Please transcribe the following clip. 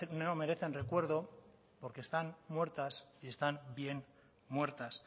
no merecen recuerdo porque están muertas y están bien muertas